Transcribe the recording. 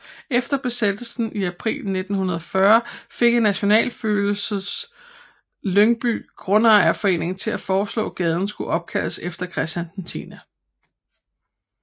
Efter Besættelsen i april 1940 fik en nationalfølelse Lyngby Grundejerforening til at foreslå gaden skulle opkaldes efter Christian 10